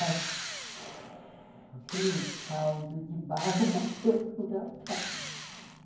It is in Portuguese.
(assopro) Aquele caudo de barro bateu no rapaz.